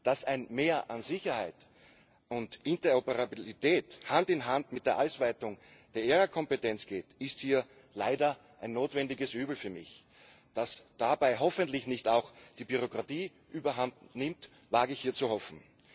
Dass ein Mehr an Sicherheit und Interoperabilität Hand in Hand mit der Ausweitung der ERA Kompetenz geht, ist hier leider ein notwendiges Übel für mich. Dass dabei hoffentlich nicht auch die Bürokratie überhandnimmt, wage ich hier zu hoffen.